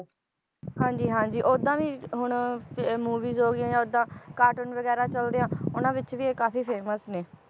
ਹਾਂਜੀ ਹਾਂਜੀ ਓਦਾਂ ਵੀ ਹੁਣ movies ਹੋ ਗਈਆਂ ਜਾਂ ਓਦਾਂ cartoon ਵਗੈਰਾ ਚਲਦੇ ਆ ਉਹਨਾਂ ਵਿਚ ਇਹ ਕਾਫੀ famous ਨੇ